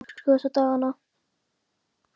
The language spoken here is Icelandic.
Hvernig er stemningin hjá Afríku þessa dagana?